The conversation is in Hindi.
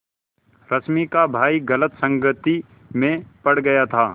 रश्मि का भाई गलत संगति में पड़ गया था